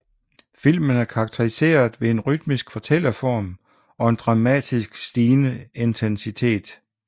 Filmen er karakteriseret ved en rytmisk fortælleform og en dramatisk stigende intensitet